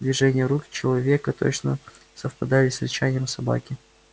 движения рук человека точно совпадали с рычанием собаки